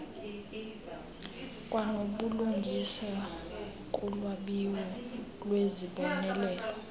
kwanobulungisa kulwabiwo lwezibonelelo